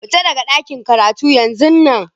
Fita daga ɗakin karatun yanzun nan!